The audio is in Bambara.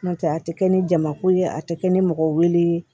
N'o tɛ a tɛ kɛ ni jamako ye a tɛ kɛ ni mɔgɔw wele